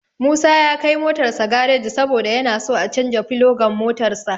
Musa ya kai motarsa gareji saboda yana so a canja filogan motarsa.